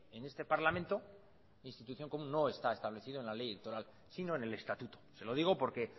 en este parlamento como institución no está establecido en la ley electoral sino en el estatuto se lo digo porque